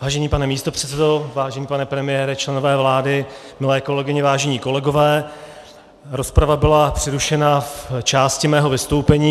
Vážený pane místopředsedo, vážený pane premiére, členové vlády, milé kolegyně, vážení kolegové, rozprava byla přerušena v části mého vystoupení.